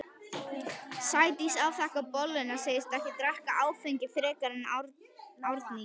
Sædís afþakkar bolluna, segist ekki drekka áfengi frekar en Árný.